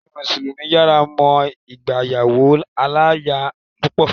Ẹ̀sin mùsùlùmí fará mọ́ ìgbéyàwó aláya púpọ̀.